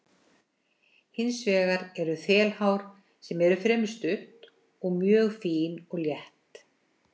Hins vegar eru þelhár sem eru fremur stutt og mjög fín og létt.